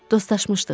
Dostaşmışdıq.